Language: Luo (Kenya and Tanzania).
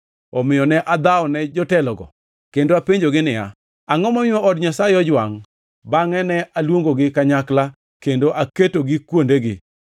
Omiyo ne adhawone jotelogo kendo apenjogi niya, Angʼo momiyo od Nyasaye ojwangʼ? Bangʼe ne aluongogi kanyakla kendo aketogi kuondegi.